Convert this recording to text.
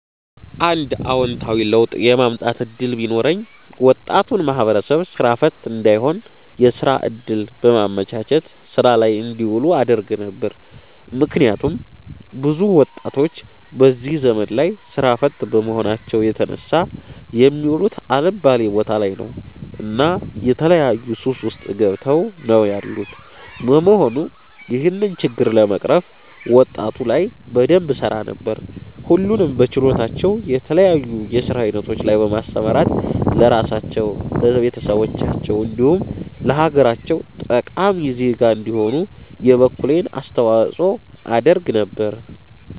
አንድ አወንታዊ ለውጥ የማምጣት እድል ቢኖረኝ ወጣቱን ማህበረሰብ ስራ ፈት እንዳይሆን የስራ እድል በማመቻቸት ስራ ላይ እንዲውሉ አደርግ ነበር። ምክንያቱም ብዙ ወጣቶች በዚህ ዘመን ላይ ስራ ፈት በመሆናቸው የተነሳ የሚውሉት አልባሌ ቦታ ላይ ነው እና የተለያዩ ሱስ ውስጥ ገብተው ነው ያሉት በመሆኑም ይህንን ችግር ለመቅረፍ ወጣቱ ላይ በደንብ እሰራ ነበር። ሁሉንም በችሎታቸው የተለያዩ የስራ አይነቶች ላይ በማሰማራት ለራሳቸው፣ ለቤተሰባቸው እንዲሁም ለሀገራቸው ጠቃሚ ዜጋ እንዲሆኑ የበኩሌን አስተዋፅኦ አደርግ ነበር